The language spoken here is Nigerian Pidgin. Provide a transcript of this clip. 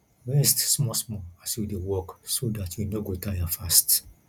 rest small small as you dey work so dat you no go tire fast